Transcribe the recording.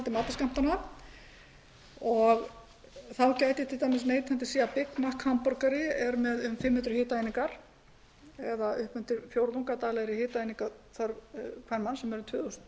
á hitaeiningainnihaldi matarskammtanna þá gæti neytandi til dæmis séð að í big mac hamborgara eru yfir fimm hundruð hitaeiningar eða allt að fjórðungur af daglegri hitaeiningaþörf karlmanns sem er tvö þúsund